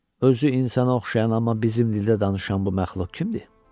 Özü insana oxşayan amma bizim dildə danışan bu məxluq kimdir?